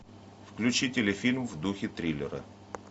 включи телефильм в духе триллера